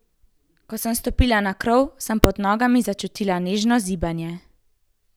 Ko sem stopila na krov, sem pod nogami začutila nežno zibanje.